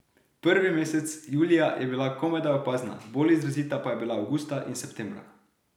Prvi mesec, julija, je bila komajda opazna, bolj izrazita pa je bila avgusta in septembra.